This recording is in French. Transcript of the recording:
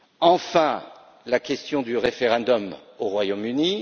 Enfin, la question du référendum au Royaume